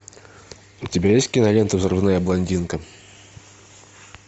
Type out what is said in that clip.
у тебя есть кинолента взрывная блондинка